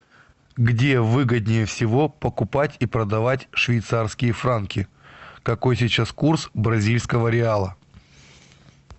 где выгоднее всего покупать и продавать швейцарские франки какой сейчас курс бразильского реала